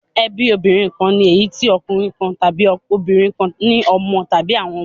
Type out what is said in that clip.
Ẹbí òbí kan ni èyí tí ọkùnrin kan tàbí obìnrin kan ní ọmọ tàbí àwọn ọmọ.